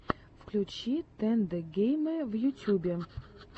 включи тэндэ геймэ в ютьюбе